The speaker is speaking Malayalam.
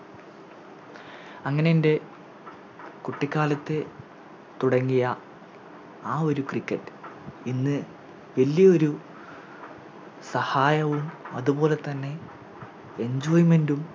അങ്ങനെൻറെ കുട്ടിക്കാലത്തെ തുടങ്ങിയ ആ ഒരു Cricket ഇന്ന് വലിയ ഒരു സഹായവും അതുപോലെതന്നെ Enjoyment ഉം